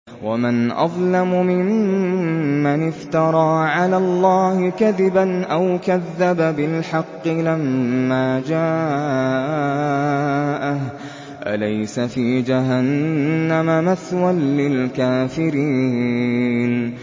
وَمَنْ أَظْلَمُ مِمَّنِ افْتَرَىٰ عَلَى اللَّهِ كَذِبًا أَوْ كَذَّبَ بِالْحَقِّ لَمَّا جَاءَهُ ۚ أَلَيْسَ فِي جَهَنَّمَ مَثْوًى لِّلْكَافِرِينَ